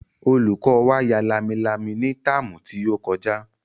Olùkọ́ wa ya lámilámi ní táàmù tí ó kọjá